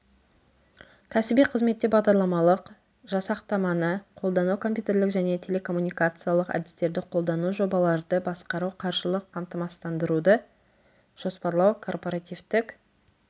кәсіби қызметте бағдарламалық жасақтаманы қолдану компьютерлік және телекоммуникациялық әдістерді қолдану жобаларды басқару қаржылық қамсыздандыруды жоспарлау корпоративтік